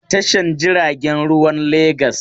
Akwai lauyoyi a Tashar jiaragen ruwan Legas.